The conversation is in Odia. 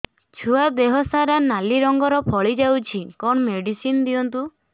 ଛୁଆ ଦେହ ସାରା ନାଲି ରଙ୍ଗର ଫଳି ଯାଇଛି କଣ ମେଡିସିନ ଦିଅନ୍ତୁ